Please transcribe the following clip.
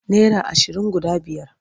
Naira ashirin guda biyar.